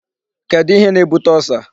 Kedu ihe na-ebute Ulcer?